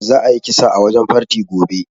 Za a yi kisa a wajen farti gobe